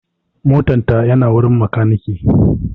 motan ta na wurin makaniki